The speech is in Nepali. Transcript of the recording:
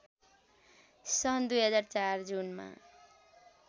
सन् २००४ जुनमा